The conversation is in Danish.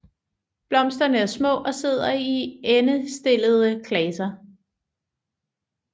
Blomsterne er små og sidder i endestillede klaser